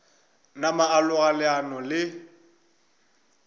napa a loga leano le